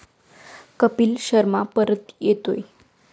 कपिल शर्मा परत येतोय!